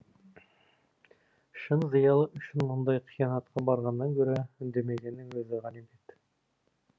шын зиялы үшін мұндай қиянатқа барғаннан гөрі үндемегеннің өзі ғанибет